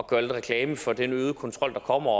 gøre lidt reklame for den øgede kontrol der kommer